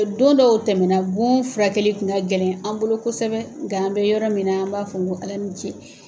O don dɔw tɛmɛna bon furakɛli tun ka gɛlɛn an bolo kosɛbɛ nka an bɛ yɔrɔ min na an b'a fɔ ŋo Ala ni ce.